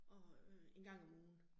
Og øh 1 gang om ugen